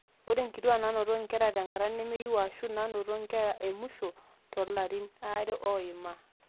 ore inkituaak naanoto nkera tenkata nemeyieu aashu aashu naanoto nkera emusho toolarin aare oima